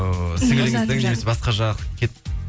ыыы сіңіліңіздің немесе басқа жақ